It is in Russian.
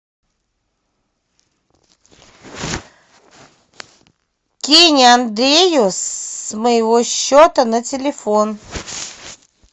кинь андрею с моего счета на телефон